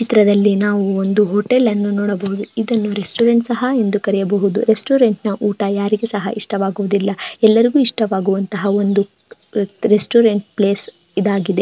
ಚಿತ್ರದಲ್ಲಿ ನಾವು ಒಂದು ಹೋಟೆಲ್ ಅನ್ನು ನೋಡಬಹುದು ಇದನ್ನು ರೆಸ್ಟೋರೆಂಟ್ ಸಹ ಎಂದು ಕರೆಯಬಹುದು ರೆಸ್ಟೋರೆಂಟ್ ನ ಊಟ ಯಾರಿಗೆ ಸಹ ಇಷ್ಟವಾಗುವುದಿಲ್ಲ ಎಲ್ಲರಿಗೂ ಇಷ್ಟವಾಗುವಂತಹ ಒಂದು ರೆಸ್ಟೋರೆಂಟ್ ಪ್ಲೇಸ್ ಇದಾಗಿದೆ.